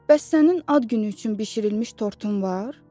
Bəs sənin ad günü üçün bişirilmiş tortun var?